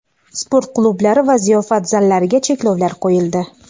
sport klublari va ziyofat zallariga cheklovlar qo‘yildi.